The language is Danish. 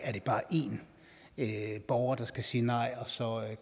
bare én borger der skal sige nej og så